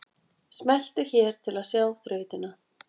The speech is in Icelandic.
Smelltu hér til að sjá þrautina